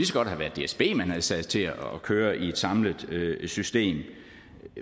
så godt have været dsb man havde sat til at køre i et samlet system